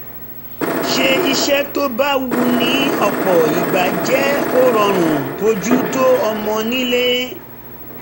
ṣe iṣẹ́ tó bá wù ní ọ̀pọ̀ ìgbà jẹ́ ó rọrùn bójú tó ọmọ nílò